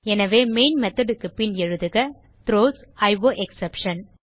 எனவே main method க்கு பின் எழுதுக த்ரோஸ் அயோஎக்ஸ்செப்ஷன்